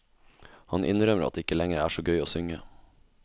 Han innrømmer at det ikke lenger er så gøy å synge.